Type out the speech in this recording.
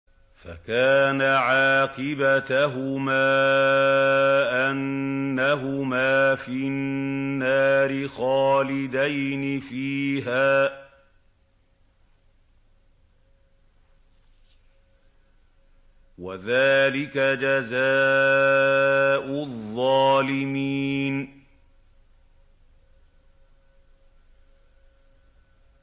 فَكَانَ عَاقِبَتَهُمَا أَنَّهُمَا فِي النَّارِ خَالِدَيْنِ فِيهَا ۚ وَذَٰلِكَ جَزَاءُ الظَّالِمِينَ